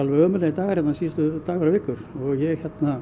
ömurlegir dagar dagar og vikur ég